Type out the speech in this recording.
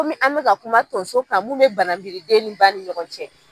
Ko min an mi ka kuma tonso ka mun bɛ banabiriden ni ba ni ɲɔgɔn cɛ